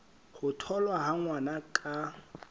ho tholwa ha ngwana ka